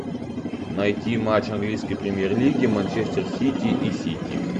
найти матч английской премьер лиги манчестер сити и сити